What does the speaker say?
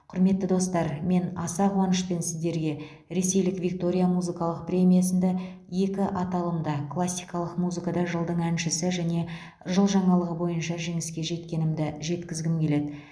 құрметті достар мен аса қуанышпен сіздерге ресейлік виктория музыкалық премиясында екі аталымда классикалық музыкада жылдың әншісі және жыл жаңалығы бойынша жеңіске жеткенімді жеткізгім келеді